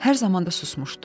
Hər zaman da susmuşdu.